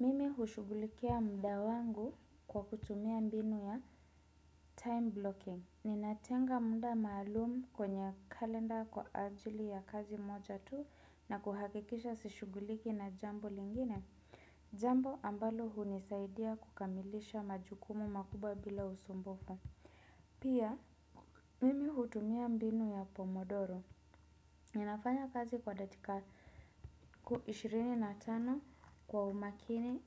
Mimi hushughulikia muda wangu kwa kutumia mbinu ya time blocking. Ninatenga muda maalumu kwenye kalenda kwa ajili ya kazi moja tu na kuhakikisha sishughuliki na jambo lingine. Jambo ambalo hunisaidia kukamilisha majukumu makubwa bila usumbufu. Pia, mimi hutumia mbinu ya pomodoro. Ninafanya kazi kwa datika ishirini na tano kwa umakini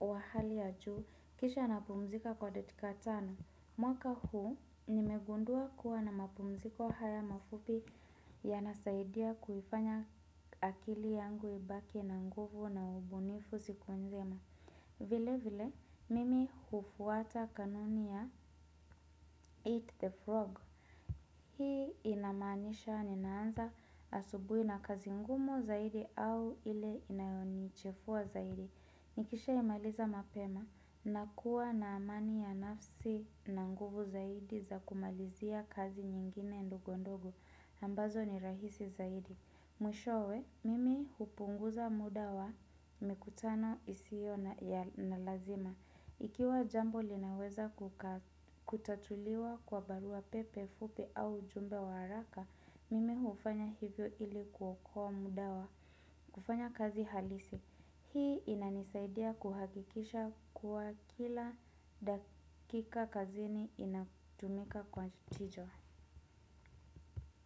wa hali ya juu kisha napumzika kwa datika tano. Mwaka huu nimegundua kuwa na mapumziko haya mafupi yanasaidia kuifanya akili yangu ibaki na nguvu na ubunifu siku nzima. Vile vile mimi hufuata kanuni ya eat the frog. Hii inamanisha ninaanza asubuhi na kazi ngumu zaidi au ile inayonichefua zaidi. Nikisha imaliza mapema na kuwa na amani ya nafsi na nguvu zaidi za kumalizia kazi nyingine ndogondogo. Ambazo ni rahisi zaidi. Mwishowe, mimi hupunguza muda wa mikutano isio na lazima. Ikiwa jambo linaweza kutatuliwa kwa barua pepe fupi au jumbe wa haraka, mimi hufanya hivyo ili kuokoa muda wa. Kufanya kazi halisi, hii inanisaidia kuhakikisha kuwa kila dakika kazini inatumika kwa chijwa.